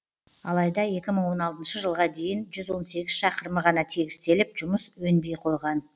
алайда екі мың он алтыншы жылға дейін жүз он сегіз шақырымы ғана тегістеліп жұмыс өнбей қойған